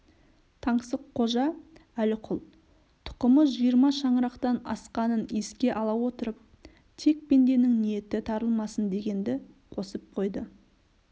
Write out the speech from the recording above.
таңсыққожа әліқұл тұқымы жиырма шаңырақтан асқанын еске алып отыр тек пенденің ниеті тарылмасын дегенді қосып қойды